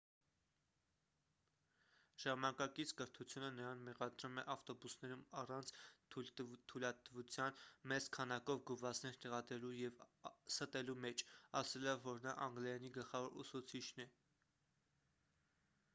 ժամանակակից կրթությունը նրան մեղադրում է ավտոբուսներում առանց թույլատվության մեծ քանակով գովազդներ տեղադրելու և ստելու մեջ ասելով որ նա անգլերենի գլխավոր ուսուցիչն է